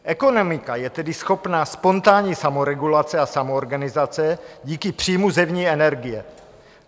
Ekonomika je tedy schopna spontánní samoregulace a samoorganizace díky příjmu zevní energie.